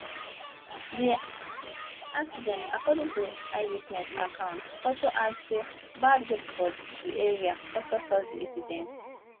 di accident according to eyewitness accounts also add say bad road for di area also cause di incident